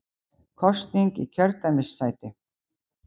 Kosning í kjördæmissæti